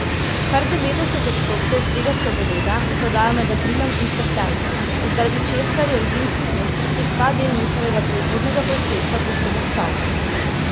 Kar devetdeset odstotkov vsega sladoleda prodajo med aprilom in septembrom, zaradi česar je v zimskih mesecih ta del njihovega proizvodnega procesa povsem ustavljen.